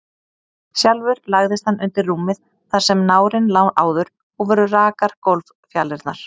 Sjálfur lagðist hann undir rúmið þar sem nárinn lá áður, og voru rakar gólffjalirnar.